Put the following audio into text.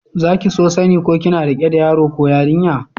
Za ki so sani ko kina rike da yaro ko yarinya?